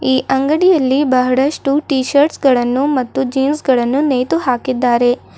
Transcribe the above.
ಈ ಅಂಗಡಿಯಲ್ಲಿ ಬಹಳಷ್ಟು ಟೀ ಶರ್ಟ್ಸ್ ಗಳನ್ನು ಮತ್ತು ಜೀನ್ಸ್ ಗಳನ್ನು ನೇತು ಹಾಕಿದ್ದಾರೆ.